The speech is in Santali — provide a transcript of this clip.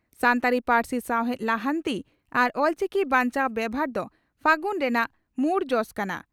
ᱥᱟᱱᱛᱟᱲᱤ ᱯᱟᱹᱨᱥᱤ ᱥᱟᱣᱦᱮᱫ ᱞᱟᱦᱟᱱᱛᱤ ᱟᱨ ᱚᱞᱪᱤᱠᱤ ᱵᱟᱧᱪᱟᱣ ᱵᱮᱵᱷᱟᱨ ᱫᱚ 'ᱯᱷᱟᱹᱜᱩᱱ' ᱨᱮᱱᱟᱜ ᱢᱩᱲ ᱡᱚᱥ ᱠᱟᱱᱟ ᱾